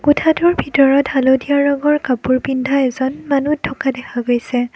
কোঠাটোৰ ভিতৰত হালধীয়া ৰঙৰ কাপোৰ পিন্ধা এজন মানু্হ থকা দেখা গৈছে।